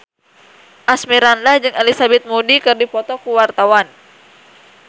Asmirandah jeung Elizabeth Moody keur dipoto ku wartawan